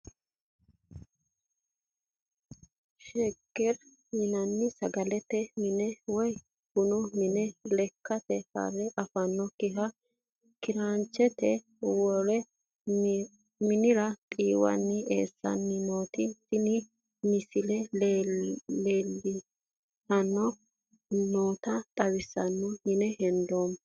Sheger yinani sagalete mine woyi bunu mine lekate hareafanokiha kiraanchete wore minira xiiwani eesaniti tene misilera leeltani nooxa xawiseemo yee hedeemo.